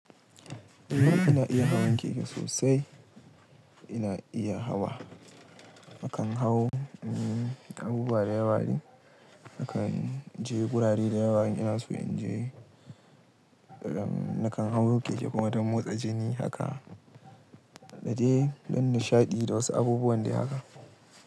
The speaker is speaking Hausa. I mana ina iya hawan keke sosai, ina iya hawa. Nakan hau, abubuwa da yawa dai, nakan je gurare da yawa ina so in je. Nakan hau keke kuma don motsa jini haka, da dai don nishaɗi da wasu abubuwan dai haka.